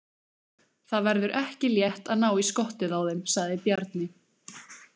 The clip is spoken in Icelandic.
Það verður ekki létt að ná í skottið á þeim, sagði Bjarni.